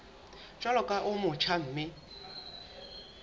jwalo ka o motjha mme